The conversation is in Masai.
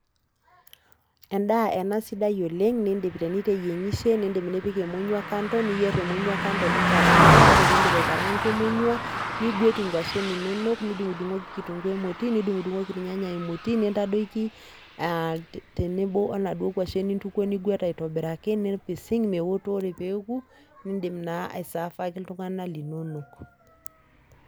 Endaa sidai ena , nindim niteyiengishe , nindim nipik emonywa kando , niyier emonyua kando , ninkaranka , ore piindip aikaranka emonyua , nigwet inkwashen inonok, nidungdungoki kitunguu emoti , nidungdungoki irnyanya emoti aa tenebo onaduoo kwashen nintukuo , nigwet aitobiraki , nipising meoto, ore peeku , nindim naa aisaafaki iltunganak linono.